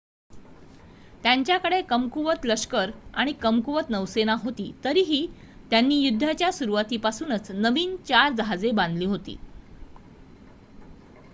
त्यांच्याकडे कमकुवत लष्कर आणि कमकुवत नौसेना होती तरीही त्यांनी युद्धाच्या सुरूवातीपूर्वीच नवीन 4 जहाजे बांधली होती